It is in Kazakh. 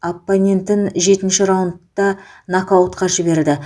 оппонентін жетінші раундта нокаутқа жіберді